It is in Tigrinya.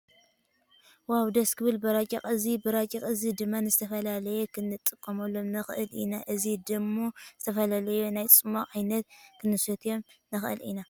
ዋው ደስ ክብል በራጭቆ። እዚ በራጭቆ እዚ ድማ ንዝተፈላለዩ ክንጥቀመሎም ንክእል ኢና። እዚ ድም ዝተፈላለዩ ናይ ፅሟቅ ዓይነት ክንሰትየሎም ንክእል ኢና።